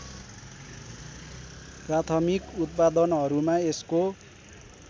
प्राथमिक उत्पादनहरूमा यसको